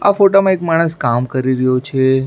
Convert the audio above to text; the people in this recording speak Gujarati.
આ ફોટા માં એક માણસ કામ કરી રહ્યો છે.